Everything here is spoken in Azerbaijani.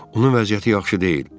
Onun vəziyyəti yaxşı deyil.